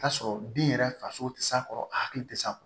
T'a sɔrɔ bin yɛrɛ faso tɛ s'a kɔrɔ a hakili tɛ s'a kɔ